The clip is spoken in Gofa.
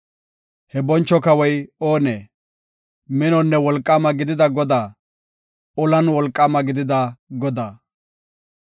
He boncho kawoy oonee? Minonne wolqaama gidida Godaa; olan wolqaama gidida Godaa.